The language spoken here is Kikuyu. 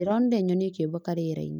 Ndĩronire nyoni ikĩũmbũka rĩera-inĩ